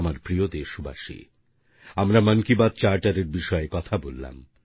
আমার প্রিয় দেশবাসী আমরা মন কি বাত চার্টার এর বিষয়ে কথা বললাম